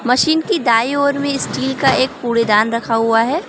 Machine की दाई ओर में स्टील का एक कूड़ेदान रखा हुआ है।